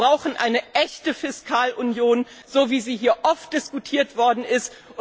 Wir brauchen eine echte Fiskalunion, so wie sie hier oft diskutiert worden ist.